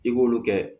I k'olu kɛ